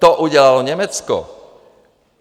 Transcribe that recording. To udělalo Německo.